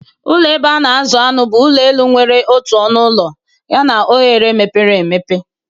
Ụlọ ebe a na-azụ anụ bụ ụlọ elu nwere otu ọnụ ụlọ Yana oghere mepere emepe.